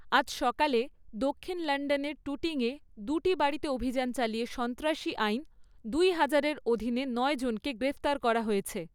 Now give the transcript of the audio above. আজ সকালে, দক্ষিণ লন্ডনের টুটিংয়ে দুটি বাড়িতে অভিযান চালিয়ে সন্ত্রাসী আইন দুই হাজারের অধীনে নয় জনকে গ্রেপ্তার করা হয়েছে।